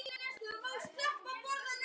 Elsku amma mín Esta besta.